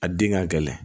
A den ka gɛlɛn